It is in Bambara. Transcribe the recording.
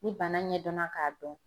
Ni bana ɲɛdɔnna k'a dɔn